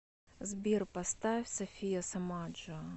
сбер поставь софия сомаджо